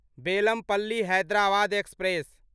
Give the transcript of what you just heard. Bellampalli Hyderabad express